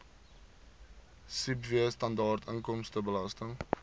sibw standaard inkomstebelasting